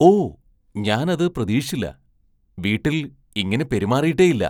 ഓ, ഞാൻ അത് പ്രതീക്ഷിച്ചില്ല. വീട്ടിൽ ഇങ്ങനെ പെരുമാറിയിട്ടേയില്ല